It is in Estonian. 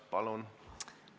Palun!